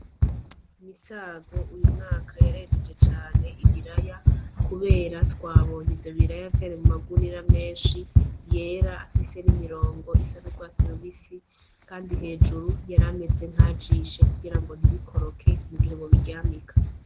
MISAGO uyu mwaka yarejeje cane ibiraya kubera twabonye ivyo biraya vyari mu magunira menshi yera afise n' imirongo isa n' ugwatsi rubisi kandi hejuru yarameze nkaya jishe kugira ngo ntibikoroke mugihe bobiryamika.